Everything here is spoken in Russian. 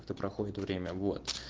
это проходит время года